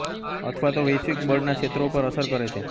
અથવા તો વૈશ્વિક બળના ક્ષેત્રો પર અસર કરે છે